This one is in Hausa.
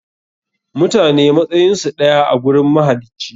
Mutane matsayinsu ɗaya a gurin mahalici.